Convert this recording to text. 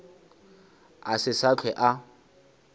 a se sa hlwe a